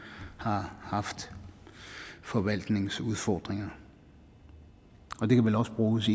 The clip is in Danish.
har haft forvaltningsudfordringer og det kan vel også bruges